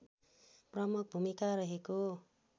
प्रमुख भुमिका रहेको